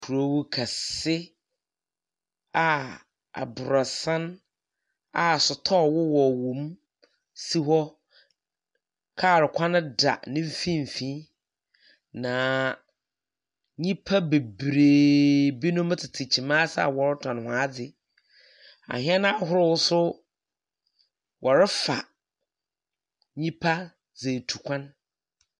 Kurow kɛse a aborosan a sotɔɔ wowɔ wowom si hɔ. Kaar kwan da ne mfimfin, na nyimpa bebree binom tsetse kyim ase a wɔretɔn hɔn ade. Ahɛn ahorow nso wɔrefa nyimpa dze etu kwan.